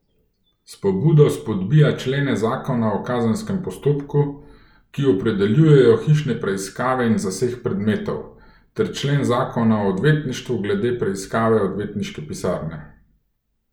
S pobudo spodbija člene zakona o kazenskem postopku, ki opredeljujejo hišne preiskave in zaseg predmetov, ter člen zakona o odvetništvu glede preiskave odvetniške pisarne.